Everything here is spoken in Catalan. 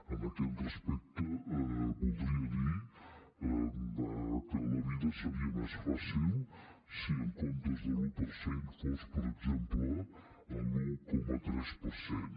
en aquest respecte voldria dir que la vida seria més fàcil si en comptes de l’un per cent fos per exemple l’un coma tres per cent